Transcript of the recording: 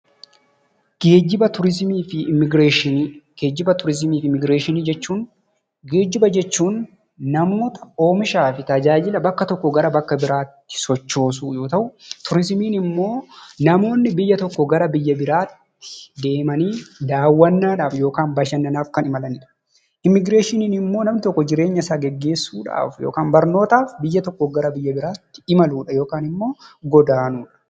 Geejjiba, Turizimii fi Immigireeshinii jechuun geejjiba jechuun namoota, oomishaa fi tajaajila bakka tokkoo gara bakka biraatti sochoosuu yoo ta'u, turizimiin immoo namoonni biyya tokkoo gara biyya biraatti deemanii daawwannaadhaaf yookaan bashannanaaf kan imalanidha. Immigireeshiniin immoo namni tokko jireenyasaa gaggeessuudhaaf yookaan barnootaaf biyya tokkoo gara biyya biraatti imaluudha yookaan immoo godaanuudha.